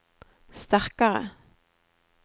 sterkare